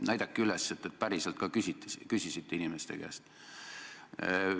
Näidake, et te küsisite inimeste käest tõsiselt!